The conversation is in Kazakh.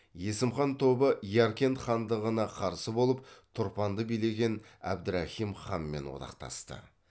есім хан тобы яркент хандығына қарсы болып тұрпанды билеген әбдірахим ханмен одақтасты